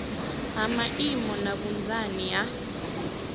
ha maimo na vhunzani ha